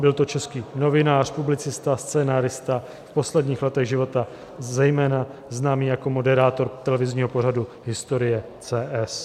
Byl to český novinář, publicista, scenárista, v posledních letech života zejména známý jako moderátor televizního pořadu Historie.cs